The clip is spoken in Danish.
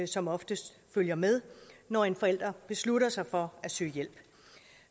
som oftest følger med når en forælder beslutter sig for at søge hjælp